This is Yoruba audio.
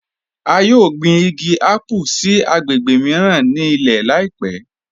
A yọ̀ gbin igi àpù agbègbè míran ni ilẹ̀ láìpẹ̀